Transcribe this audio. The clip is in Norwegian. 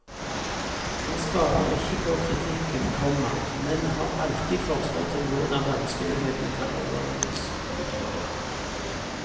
Han sparer ikke på kritikken, komma men har alltid forslag til hvordan vanskelighetene kan overvinnes. punktum